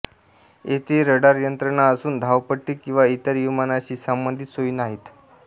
येथे रडारयंत्रणा असून धावपट्टी किंवा इतर विमानाशी संबंधित सोयी नाहीत